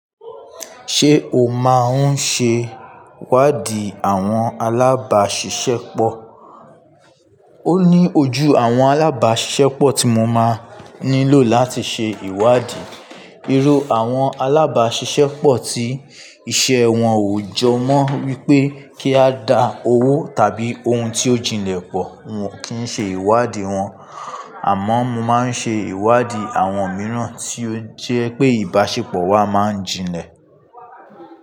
Ṣé o máa ń ṣe ìwádìí àwọn alábàáṣiṣẹ́pọ̀? Ó ní ojú àwọn alábàáṣiṣẹ́pọ̀ tí mo máa nílò láti ṣe ìwádìí. Irú àwọn alábàáṣiṣẹ́pọ̀ tí iṣẹ́ wọn ò jọ mọ́ wípé kí a dá owó tàbí ohun tí ó jinlẹ̀ pọ̀, wọn kì ń ṣe ìwádìí wọn. Àmọ́ mo máa ń ṣe ìwádìí àwọn mìíràn tí ó jẹ́ pé ìbáṣepọ̀ wa máa ń jinlẹ̀.